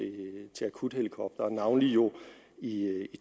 til akuthelikoptere navnlig jo i